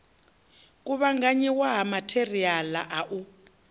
kuvhanganyiwa ha matheriala a u